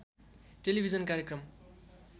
television कार्यक्रम